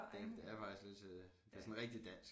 Det det er faktisk lidt det sådan rigtig dansk